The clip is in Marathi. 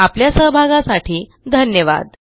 आपल्या सहभागासाठी धन्यवाद